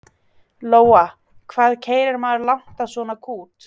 Lóa: Hvað keyrir maður langt á svona kút?